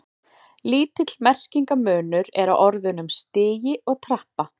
Lítill merkingarmunur er á orðunum stigi og trappa.